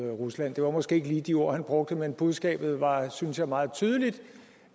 rusland det var måske ikke lige de ord han brugte men budskabet var synes jeg meget tydeligt